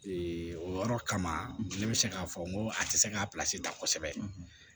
o yɔrɔ kama ne bɛ se k'a fɔ n ko a tɛ se k'a pilasi ta kosɛbɛ